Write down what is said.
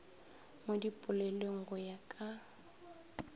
mo dipolelong go ya ka